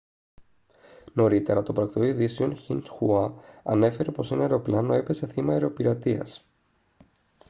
νωρίτερα το πρακτορείο ειδήσεων xinhua ανέφερε πως ένα αεροπλάνο έπεσε θύμα αεροπειρατείας